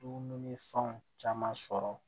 Dumuni fɛnw caman sɔrɔ